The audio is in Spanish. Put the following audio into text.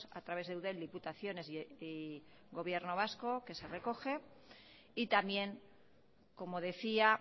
a través de eudel diputaciones y gobierno vasco que se recoge y también como decía